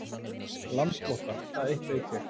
Landflótta, það eitt veit ég.